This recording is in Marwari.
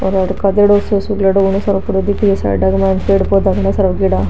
और आठे घणो सारो पड़ों दिखरो साइडा में पेड़ पौधा घना सारा उगेडा।